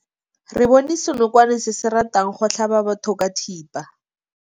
Re bone senokwane se se ratang go tlhaba batho ka thipa.